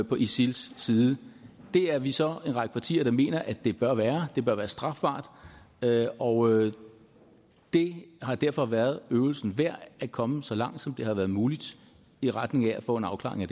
på isils side det er vi så en række partier der mener at det bør være det bør være strafbart og det har derfor været øvelsen værd at komme så langt som det har været muligt i retning af at få en afklaring